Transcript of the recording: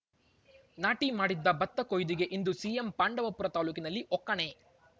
ನಾಟಿ ಮಾಡಿದ್ದ ಭತ್ತ ಕೊಯ್ಲಿಗೆ ಇಂದು ಸಿಎಂ ಪಾಂಡವಪುರ ತಾಲೂಕಿನಲ್ಲಿ ಒಕ್ಕಣೆ